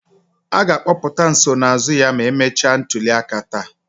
A ga-akpọpụta nsonaazụ ya ma emechaa ntuliaka taa